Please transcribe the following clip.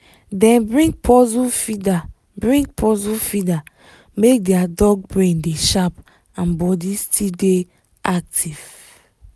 dem bring puzzle feeder bring puzzle feeder make their dog brain dey sharp and body still dey active